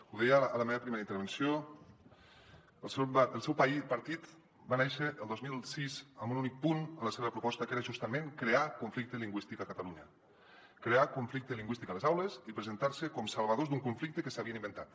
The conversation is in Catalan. ho deia a la meva primera intervenció el seu partit va néixer el dos mil sis amb un únic punt a la seva proposta que era justament crear conflicte lingüístic a catalunya crear conflicte lingüístic a les aules i presentar se com salvadors d’un conflicte que s’havien inventat